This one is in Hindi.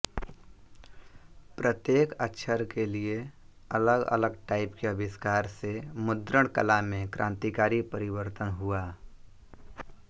प्रत्येक अक्षर के लिए अलगअलग टाइप के आविष्कार से मुद्रणकला में क्रांतिकारी परिवर्तन हुआ